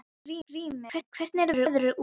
Grímey, hvernig er veðrið úti?